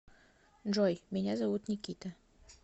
джой меня зовут никита